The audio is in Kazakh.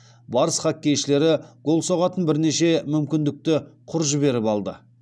барыс хоккейшілері гол соғатын бірнеше мүмкіндікті құр жіберіп алды